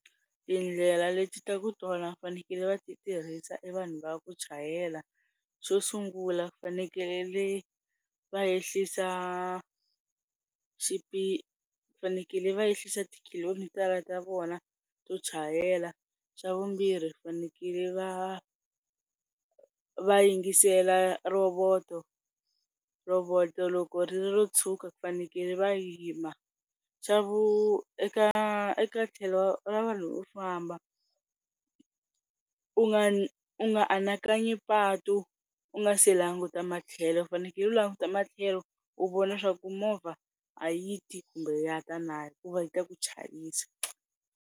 Tindlela leti ta ku tala vafanekele va tirhisa i vanhu va ku chayela. Xo sungula vafanekele va ehlisa xiphiqo vafanekele va ehlisa tokhilomitara ta vona to chayela. Xa vumbirhi vafanekele va va yingisela rhovoto, rhovoto loko ri ri ro tshuka vafanekele va yima. xa vu eka eka tlhelo ra vanhu vo famba u nga u nga anakanyi patu u nga se languta matlhelo u faneke u languta matlhelo u vona swa ku movha a yi ti kumbe ya ta na hikuva yi ta ku chayisa.